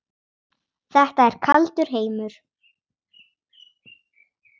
Þetta er kaldur heimur.